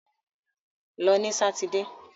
Lọ ní sátidé!